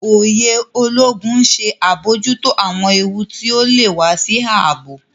Òye Ológun ń ṣe abojuto awọn éwu ti ọ lè wà sí ààbò